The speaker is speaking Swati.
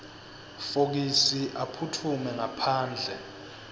fokisi aphutfume ngaphandle